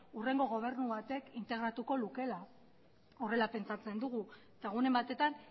hurrengo gobernu batek integratuko lukeela horrela pentsatzen dugu eta egunen batetan